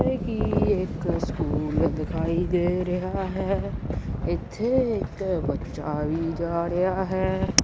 ਇੱਥੇ ਕੀ ਇੱਕ ਸਕੂਲ ਦਿਖਾਈ ਦੇ ਰਿਹਾ ਹੈ ਇੱਥੇ ਇੱਕ ਬੱਚਾ ਵੀ ਜਾ ਰਿਹਾ ਹੈ।